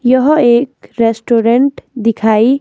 यह एक रेस्टोरेंट दिखाई--